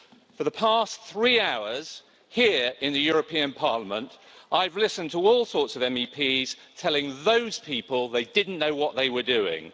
For the past three hours here, in the European Parliament, I've listened to all sorts of MEPs telling those people they didn't know what they were doing.